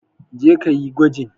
Je ka yi gwajin!